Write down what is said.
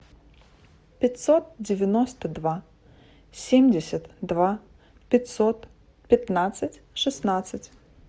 пятьсот девяносто два семьдесят два пятьсот пятнадцать шестнадцать